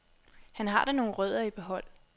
Han har da nogle rødder i behold.